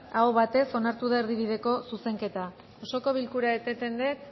aho batez onartu da erdibideko zuzenketa osoko bilkura eteten dut